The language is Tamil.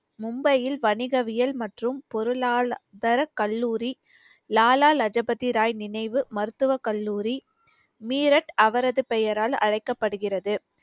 மும்பையில் வணிகவியல் மற்றும் பொருளாளர் தரக் கல்லூரி லாலா லஜபதி ராய் நினைவு மருத்துவ கல்லூரி மீரட் அவரது பெயரால் அழைக்கப்படுகிறது